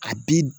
A bi